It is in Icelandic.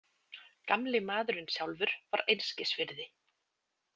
Gamli maðurinn sjálfur var einskis virði.